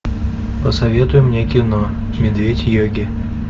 посоветуй мне кино медведь йоги